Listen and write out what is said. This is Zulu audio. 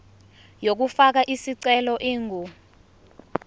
yokufaka isicelo ingu